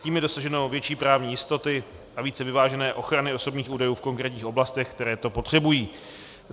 Tím je dosaženo větší právní jistoty a více vyvážené ochrany osobních údajů v konkrétních oblastech, které to potřebují.